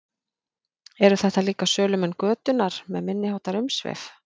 Eru þetta líka sölumenn götunnar með minniháttar umsvif?